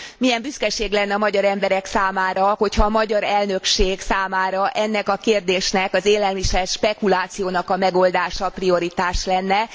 Milyen büszkeség lenne a magyar emberek számára, hogyha a magyar elnökség számára ennek a kérdésnek, az élelmiszer spekulációnak a megoldása prioritás lenne.